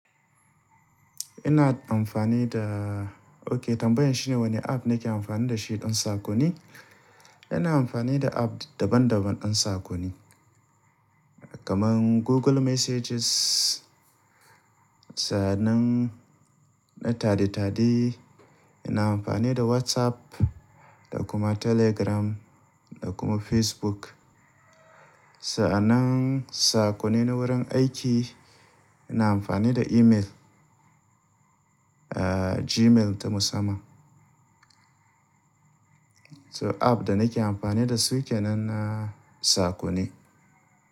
Ina amfani da-- OK, tambayan shine wane app nake amfani da shi don sakonni. Ina amfani da app daban-daban don sakonni, kamar Google Messages. Sa'annan na tade-tade, ina amfani da WhatsApp da kuma Telegram da kuma Facebook. Sa'anan sakonni na wurin aiki, ina amfani da email, ah, Gmail ta musamman. So app da nake amfani da su ke nan na sakonni.